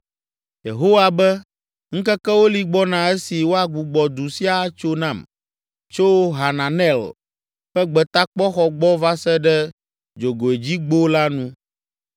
Yehowa be, “Ŋkekewo li gbɔna esi woagbugbɔ du sia atso nam, tso Hananel ƒe Gbetakpɔxɔ gbɔ va se ɖe Dzogoedzigbo la nu.